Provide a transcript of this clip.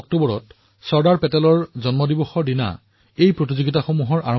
বন্ধুসকল এই তিনিওখন প্ৰতিযোগিতা ৩১ অক্টোবৰত চৰ্দাৰ চাহাবৰ জন্ম জয়ন্তীত আৰম্ভ হব